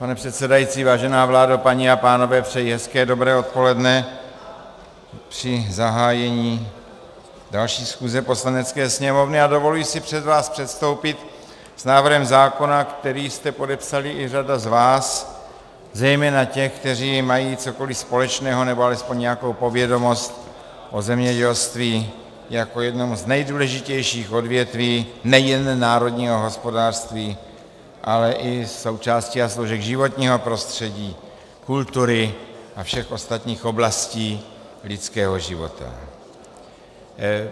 Pane předsedající, vážená vládo, paní a pánové, přeji hezké dobré odpoledne při zahájení další schůze Poslanecké sněmovny a dovoluji si před vás předstoupit s návrhem zákona, který jste podepsali i řada z vás, zejména těch, kteří mají cokoliv společného nebo alespoň nějakou povědomost o zemědělství jako jednom z nejdůležitějších odvětví nejen národního hospodářství, ale i součástí a složek životního prostředí, kultury a všech ostatních oblastí lidského života.